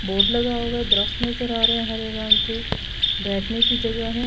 Board لگا ہوا ہے درخت نظر آ رہا ہے ہرے رنگ کے بیٹھنے کی جگہ ہے۔